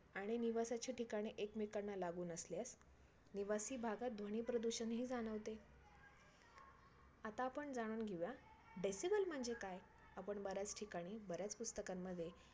आणि निवासाचे ठिकाणे एकमेकांना लागुन असल्यास निवासी भागात ध्वनी प्रदूषण ही जाणवते. आता आपण जाणून घेऊया decibel म्हणजे काय? आपण बऱ्याच ठिकाणी बऱ्याच पुस्तकांमध्ये